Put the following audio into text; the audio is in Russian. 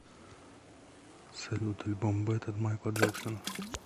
салют альбом бэд от майкла джексона